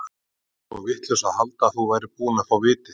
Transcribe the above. Ég var svo vitlaus að halda að þú værir búinn að fá vitið.